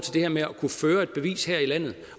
her med at kunne føre et bevis her i landet